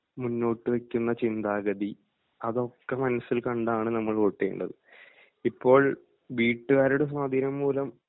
മുന്നോട്ടുവയ്ക്കുന്ന ചിന്താഗതി അതൊക്കെ മനസ്സിൽ കണ്ടാണ് നമ്മൾ വോട്ടു ചെയ്യേണ്ടത്. ഇപ്പോൾ വീട്ടുകാരുടെ സ്വാധീനംമൂലം